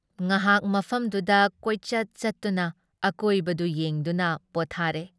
ꯉꯍꯥꯛ ꯃꯐꯝꯗꯨꯗ ꯀꯣꯏꯆꯠ ꯆꯠꯇꯨꯅ ꯑꯀꯣꯏꯕꯗꯨ ꯌꯦꯡꯗꯨꯅ ꯄꯣꯠꯊꯥꯔꯦ ꯫